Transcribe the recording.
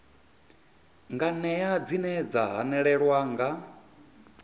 nganea dzine dza hanelelwa nga